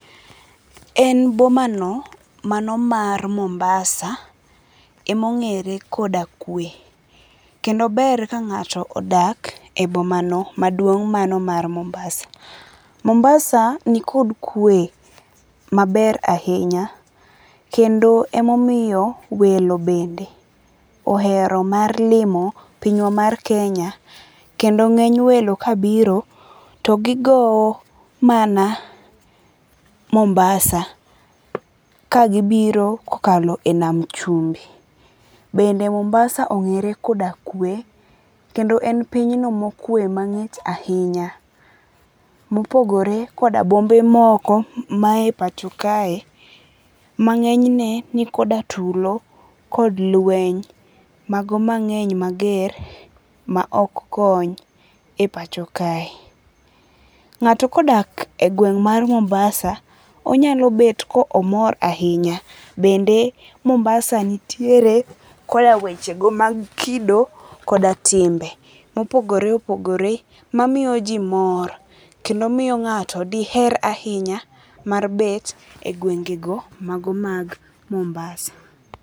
En boma no mano mar Mombasa emong'ere koda kwe. Kendo ber ka ng'ato odak e boma no maduong' mano mar Mombasa. Mombasa nikod kwe maber ahinya. Kendo emomiyo welo bende ohero mar limo pinywa mar Kenya. Kendo ng'eny welo kabiro togi gowo mana Mombasa, kagibiro kokalo e nam chumbi. Bende Mombasa ong'ere koda kwe. Kendo en pinyno mokwe mang'ich ahinya. Mopogore koda bombe moko ma e pacho kae ma ng'eny ne nikoda tulo kod lweny mago mageny mager ma ok kony e pacho kae. Ng'ato kodak e gweng' mar Mombasa onyalo bet ka omor ahinya. Bende Mombasa nitiere koda weche go mag kido koda timbe mopogore opogore mamiyo ji mor. Kendo miyo ng'ato diher ahinya mar bet e gwenge go mago mag Mombasa.